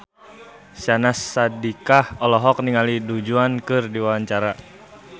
Syahnaz Sadiqah olohok ningali Du Juan keur diwawancara